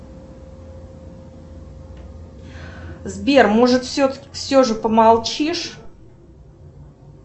сбер может все же помолчишь